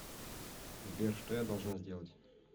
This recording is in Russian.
сбер что я должна сделать